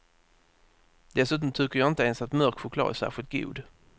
Dessutom tycker jag inte ens att mörk choklad är särskilt god.